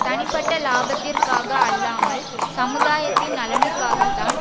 தனிப்பட்ட இலாபத்திற்காக அல்லாமல் சமுதாயத்தின் நலனுக்காகத்தான்